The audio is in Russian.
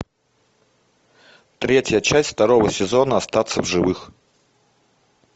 третья часть второго сезона остаться в живых